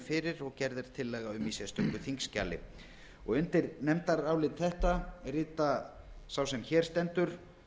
fyrir og gerð er tillaga um í sérstöku þingskjali undir nefndarálit þetta rita sá sem hér stendur